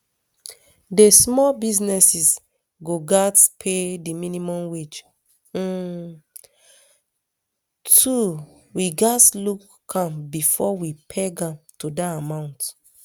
di small businesses go gatz pay di minimum wage um too we gatz look am bifor we peg am to dat amount